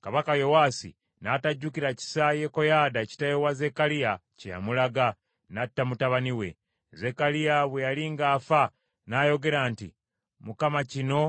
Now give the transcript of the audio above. Kabaka Yowaasi n’atajjukira kisa Yekoyaada kitaawe wa Zekkaliya kye yamulaga, n’atta mutabani we. Zekkaliya bwe yali ng’afa n’ayogera nti, “ Mukama kino